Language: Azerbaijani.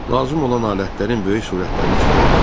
Lazım olan alətlərin böyük surətlərini çıxartdı.